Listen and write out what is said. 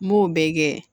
N m'o bɛɛ kɛ